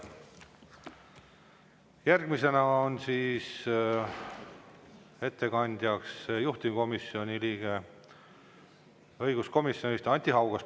Järgmisena on ettekandjaks juhtivkomisjoni nimel õiguskomisjoni liige Anti Haugas.